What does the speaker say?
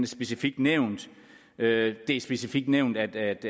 specifikt nævnt det er specifikt nævnt at